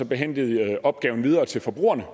behændigt opgaven videre til forbrugerne